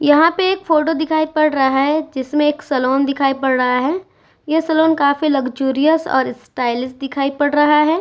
यहां पे एक फोटो दिखाई पड़ रहा है जिसमें एक सैलून दिखाई पड़ रहा है। यह सैलून काफी लग्जरियस और स्टाइलिश दिखाई पड़ रहा है।